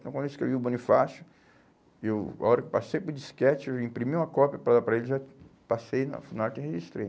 Então, quando eu escrevi o Bonifácio, eu, a hora que eu passei para o disquete, eu imprimi uma cópia para dar para ele, já passei na Funarte e registrei.